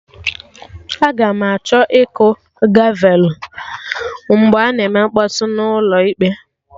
Aga m achọ ịkụ gavelụ mgbe a na-eme mkpọtụ n'ụlọ ịkpe